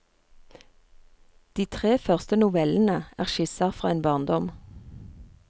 De tre første novellene er skisser fra en barndom.